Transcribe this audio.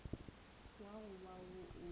wo go ba wo o